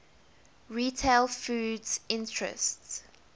retail foods interests